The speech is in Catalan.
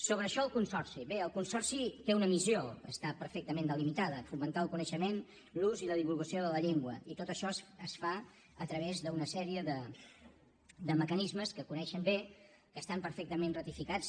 sobre això del consorci bé el consorci té una missió que està perfectament delimitada fomentar el coneixement l’ús i la divulgació de la llengua i tot això es fa a través d’una sèrie de mecanismes que coneixen bé que estan perfectament ratificats